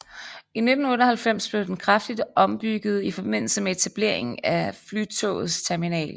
I 1998 blev den kraftigt ombygget i forbindelse med etableringen af Flytogets terminal